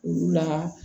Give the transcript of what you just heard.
Olu la